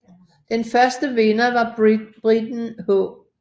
Den første vinder var briten H